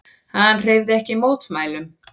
Hann hreyfði ekki mótmælum.